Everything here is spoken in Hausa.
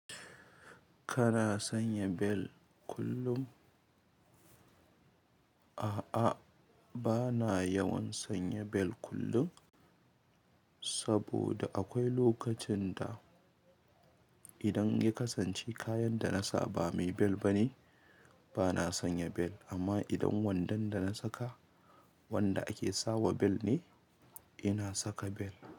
Kana sanya bel kullum? A'a, bana yawan sanya bel kullun, saboda akwai lokacin da, idan ya kasance kayan da na sa ba mai bel ba ne, bana sanya bel, amma idan wandon da na saka wanda ake sawa bel ne, ina saka bel,